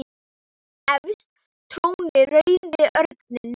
Efst trónir rauði örninn.